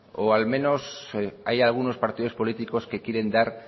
o al menos hay algunos partidos políticos que quieren dar